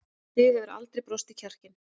Þig hefur aldrei brostið kjarkinn.